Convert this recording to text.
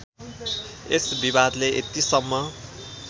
यस विवादले यतिसम्म